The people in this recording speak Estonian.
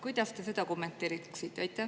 Kuidas te seda kommenteeriksite?